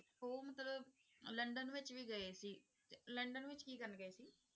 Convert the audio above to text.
ਉਹ ਮਤਲਬ ਲੰਡਨ ਵਿੱਚ ਵੀ ਗਏ ਸੀ ਤੇ ਲੰਡਨ ਵਿੱਚ ਕੀ ਕਰਨ ਗਏ ਸੀ?